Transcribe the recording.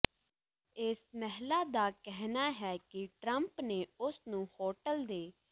ਇਸ ਮਹਿਲਾ ਦਾ ਕਹਿਣਾ ਹੈ ਕਿ ਟਰੰਪ ਨੇ ਉਸ ਨੂੰ ਹੋਟਲ ਦੇ